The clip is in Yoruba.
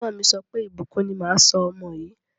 Ẹ̀gbọ́n mi sọ pé, Ìbùkún ni máa sọ ọmọ yìí.